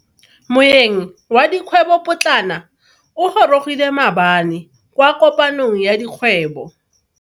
Moeng wa dikgwebo potlana o gorogile maabane kwa kopanong ya dikgwebo.